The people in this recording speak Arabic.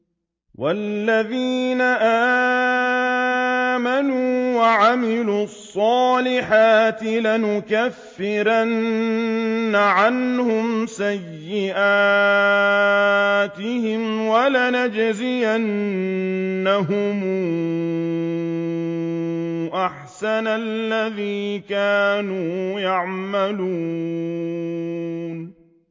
وَالَّذِينَ آمَنُوا وَعَمِلُوا الصَّالِحَاتِ لَنُكَفِّرَنَّ عَنْهُمْ سَيِّئَاتِهِمْ وَلَنَجْزِيَنَّهُمْ أَحْسَنَ الَّذِي كَانُوا يَعْمَلُونَ